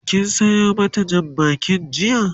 kin Sayo mata Jan bakin jiya?